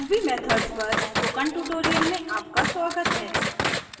ruby methods पर spoken tutorial में आपका स्वागत है